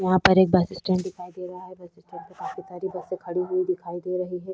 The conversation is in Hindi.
यहाँ पर एक बस स्टैंड दिखाई दे रहा है यहाँ पर काफी सारी बसें खड़ी हुई दिखाई दे रही है।